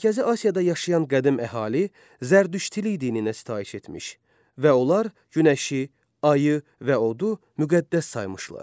Mərkəzi Asiyada yaşayan qədim əhali Zərdüştlük dininə sitayiş etmiş və onlar günəşi, ayı və odu müqəddəs saymışlar.